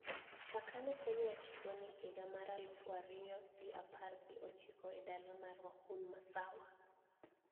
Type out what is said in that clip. Chakre ne fweny wach tuoni higa mar aluf ariyo gi apar gi ochiko e dala ma Wuhan masawa